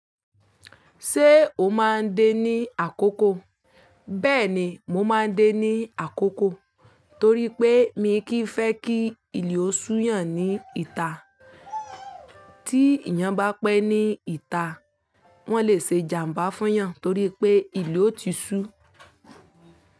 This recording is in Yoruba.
Ṣé o máa ń dé ní àkókò? Bẹ́ẹ̀ni mo máa ń dé ní àkókò torí pé mi kì í fẹ́ kí ìlẹ o sú yàn ní ìta. Tí ìyàn bá pẹ́ ní ìta, wọ́n lè ṣe ìjàmbá fún yàn torí pé ìlẹ ò ti sú.